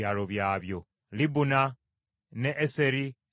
Libuna n’e Eseri, n’e Asani,